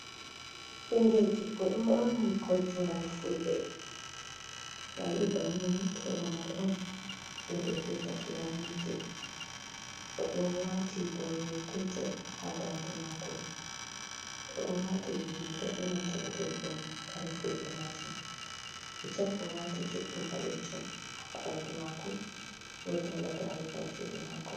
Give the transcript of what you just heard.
Ɓingel debbo ɗo ɓorni koltugal fulɓe to ayi bannini to lamar on ɗum ɓe vi’ata fulani day oɗo waati boroyel petel ha dande mako oɗo wati riga benanta gudel ɗum kare fulɓe majum hijab owati juɗɗum ɓalejum ha ɓandu mako woodi hala gare ha juuɗe mako.